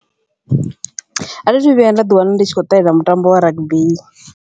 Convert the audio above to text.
Athi athu vhuya nda ḓi wana ndi tshi khou ṱalela mutambo wa rugby.